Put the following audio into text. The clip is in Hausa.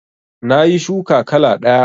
Nayi shuka kala ɗaya